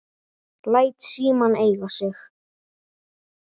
Læt símann eiga sig.